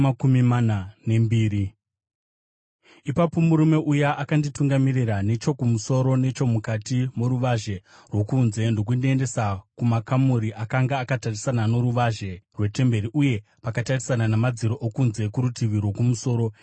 Ipapo murume uya akanditungamirira nechokumusoro nechomukati moruvazhe rwokunze ndokundiendesa kumakamuri akanga akatarisana noruvazhe rwetemberi uye pakatarisana namadziro okunze kurutivi rwokumusoro.